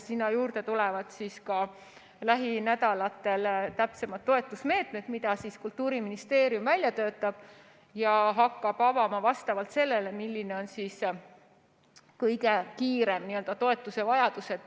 Sinna juurde tulevad lähinädalatel täpsemad toetusmeetmed, mida Kultuuriministeerium välja töötab ja hakkab avama vastavalt sellele, milline on kõige kiirem toetusevajadus.